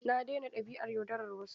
Na daina dabi'ar yaudarar wasu.